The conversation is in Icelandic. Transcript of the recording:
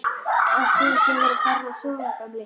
Átt þú ekki að vera farinn að sofa, gamli?